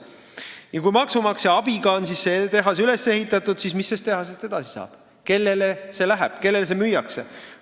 Kui see tehas on maksumaksja abiga valmis ehitatud, siis mis sellest edasi saab, kellele see läheb, kellele see müüakse?